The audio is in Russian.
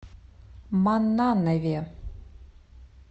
маннанове